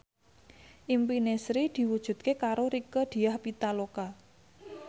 impine Sri diwujudke karo Rieke Diah Pitaloka